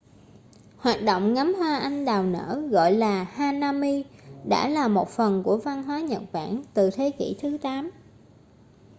hoạt động ngắm hoa anh đào nở gọi là hanami đã là một phần của văn hóa nhật bản từ thế kỷ thứ 8